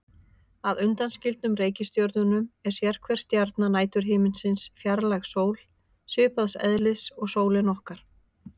Að undanskildum reikistjörnunum er sérhver stjarna næturhiminsins fjarlæg sól, svipaðs eðlis og sólin okkar.